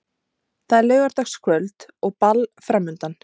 Það er laugardagskvöld og ball framundan.